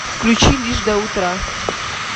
включи лишь до утра